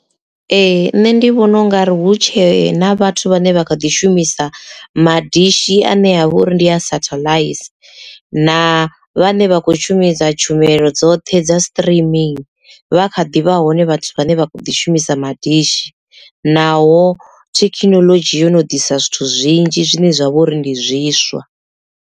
Ee nṋe ndi vhona ungari hu tshe na vhathu vhane vha kha ḓi shumisa madishi anea vha uri ndi ya satellite na vhane vha khou shumisa tshumelo dzoṱhe dza streaming vha kha ḓivha hone vhathu vhane vha kho ḓi shumisa madishi naho thekhinolodzhi yo no ḓisa zwithu zwinzhi zwine zwa vha uri ndi zwiswa.